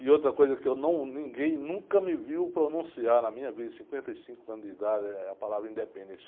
E outra coisa que eu não, ninguém nunca me viu pronunciar na minha vida, cinquenta e cinco anos de idade, é a palavra independência.